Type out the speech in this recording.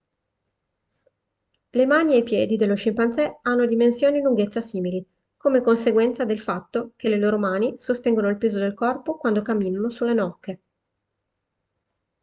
le mani e i piedi dello scimpanzé hanno dimensioni e lunghezza simili come conseguenza del fatto che le loro mani sostengono il peso del corpo quando camminano sulle nocche